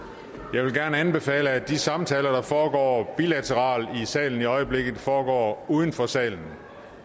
jeg vil gerne anbefale at de samtaler der foregår bilateralt i salen i øjeblikket foregår uden for salen